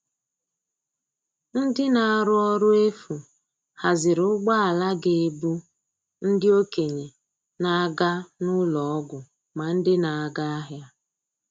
Ndị na-arụ ọrụ efu haziri ụgbọala ga - ebu ndị okenye na - aga n'ụlọ ọgwụ ma ndị na-aga ahịa.